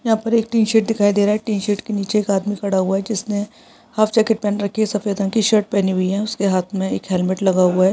यहाँ पर एक टीन शेड दि‍खाई दे रहा है टीन शेड के नीचे एक आदमी खड़ा हुआ है जिसने हाफ जेकेट पहन रखी है सफ़ेद रंग की शर्ट पहनी हुई है और उसके हाथ में एक हेलमेट लगा हुआ है ।